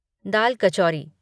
दाल कचौरी